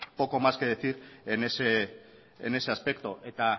poco más que decir en ese aspecto